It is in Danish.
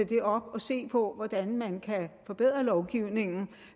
det op og se på hvordan man kan forbedre lovgivningen